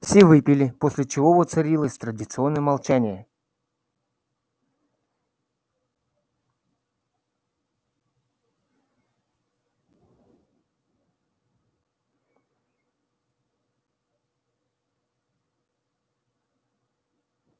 все выпили после чего воцарилось традиционное молчание